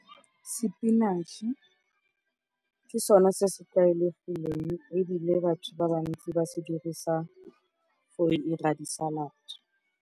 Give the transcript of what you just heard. Sepinatšh-e ke sone se se tlwaelegileng ebile batho ba bantsi ba se dirisa go dira di-salad.